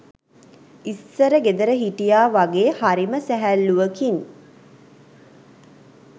ඉස්සර ගෙදර හිටියා වගේ හරිම සැහැල්ලුවකින්